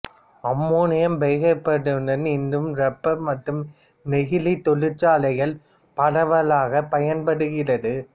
ammonium பைகார்பனேட்டானது இன்றும் rubber மற்றும் நெகிழி தொழிற்சாலைகளில் பரவலாகப் பயன்படுகிறது